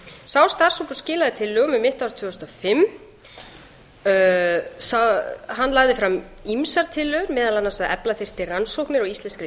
sá starfshópur skilaði tillögum um mitt ár tvö þúsund og fimm hann lagði fram ýmsar tillögur meðal annars að efla þyrfti rannsóknir á íslenskri